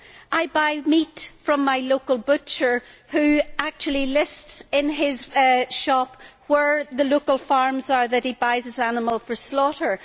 I buy meat from my local butcher, who actually lists in his shop where the local farms are where he buys his animals for slaughter.